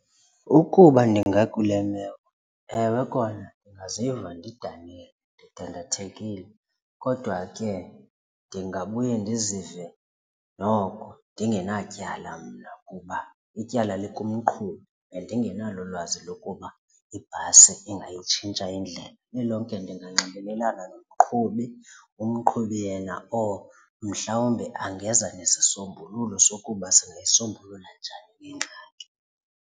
Ukuba ndingakule meko ewe kona ndingaziva ndidanile, ndidandathekile kodwa ke ndingabuya ndizive noko ndingenatyala mna kuba ityala likumqhubi. Bendingenalo ulwazi lokuba ibhasi engaytshintsha indlela. Lilonke ndinganxibelelana nomqhubi umqhubi yena or mhlawumbe angeza nesisombululo sokuba singayisombulula njani le ngxaki.